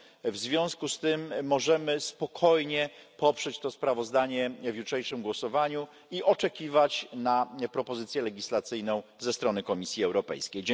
W związku z tym możemy spokojnie poprzeć to sprawozdanie w jutrzejszym głosowaniu i oczekiwać na propozycję legislacyjną ze strony Komisji Europejskiej.